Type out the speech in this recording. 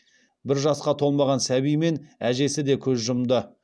бір жасқа толмаған сәби мен әжесі де көз жұмды